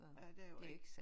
Ja det er jo ikke